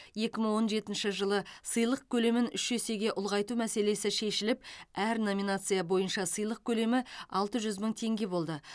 екі мың он сегізінші жылы сыйлық көлемін үш есеге ұлғайту мәселесі шешіліп әр номинация бойынша сыйлық көлемі алты жүз мың теңге болды